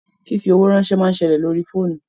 Fífi owó ránsẹ́ máa ń ṣẹlẹ̀ lórí fóònù